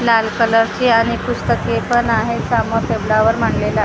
लाल कलरची आणि पुस्तके पण आहे सामोर टेबलावर मांडलेला--